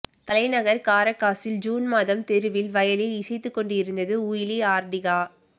தலைநகர் காரகாசில் ஜூன் மாதம் தெருவில் வயலின் இசைத்துக்கொண்டிருந்து உய்லி ஆர்ட்டீகா